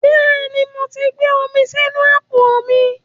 Bẹ́ẹ̀ ni, mo ti gbé omi sínú àpò mi